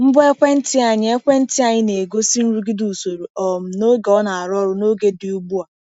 Ngwa ekwentị anyị ekwentị anyị na-egosi nrụgide usoro um na oge ọ na-arụ ọrụ n’oge dị ugbu a.